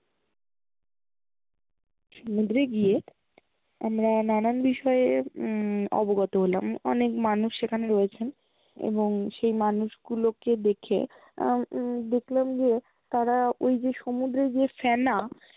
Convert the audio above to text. সমুদ্রে গিয়ে আমরা নানান বিষয় উম অবগত হলাম অনেক মানুষ সেখানে রয়েছেন এবং সেই মানুষ্গুলোকে দেখে আহ উম দেখলাম যে তারা ওই যে সমুদ্রের যে ফেনা